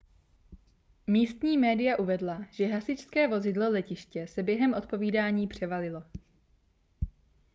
místní média uvedla že hasičské vozidlo letiště se během odpovídání převalilo